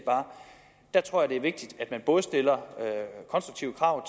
jeg tror det er vigtigt at man både stiller konstruktive krav